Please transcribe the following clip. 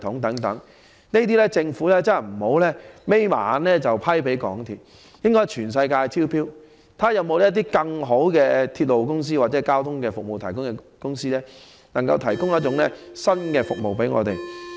對於這些項目，政府不要再閉上眼便判給港鐵，應在全球層面招標，看看有否更好的鐵路公司或交通服務提供者，能夠提供新的服務給市民。